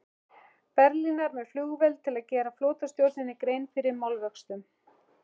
Berlínar með flugvél til að gera flotastjórninni grein fyrir málavöxtum.